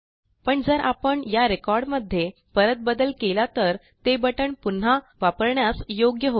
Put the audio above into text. पण जर आपण या रेकॉर्ड मध्ये परत बदल केला तर ते बटण पुन्हा वापरण्यास योग्य होईल